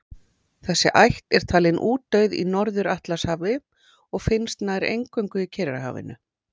Þessi ætt er talin útdauð í Norður-Atlantshafi og finnst nær eingöngu í Kyrrahafinu.